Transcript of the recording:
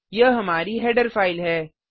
यह हमारी header file है